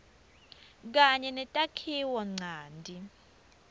kanye netakhiwo ncanti